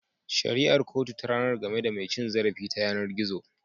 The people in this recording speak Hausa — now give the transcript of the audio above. Shari'ar kotu ta ranar game da mai cin zarafi ta yanar gizo.